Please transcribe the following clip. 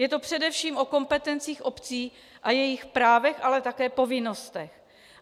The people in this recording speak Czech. Je to především o kompetencích obcí a jejich právech, ale také povinnostech.